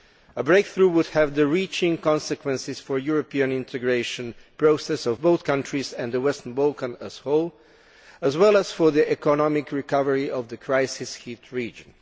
A breakthrough would have far reaching consequences for the European integration process of both countries and the Western Balkans as a whole, as well as for the economic recovery of the crisis hit region.